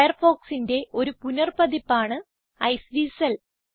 Firefoxന്റെ ഒരു പുനർ പതിപ്പാണ് ഐസ്വീസൽ